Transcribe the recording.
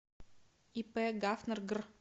ип гафнер гр